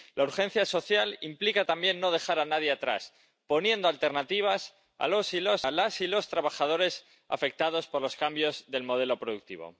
la urgencia social implica también no dejar a nadie atrás, poniendo alternativas a las y los trabajadores afectados por los cambios del modelo productivo.